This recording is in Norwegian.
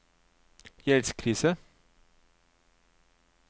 gjeldskrise